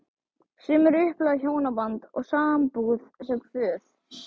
Sumir upplifa hjónaband og sambúð sem kvöð.